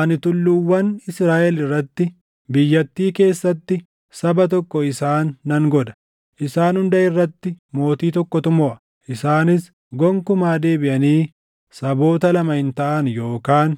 Ani tulluuwwan Israaʼel irratti, biyyattii keessatti saba tokko isaan nan godha. Isaan hunda irratti mootii tokkotu moʼa; isaanis gonkumaa deebiʼanii saboota lama hin taʼan yookaan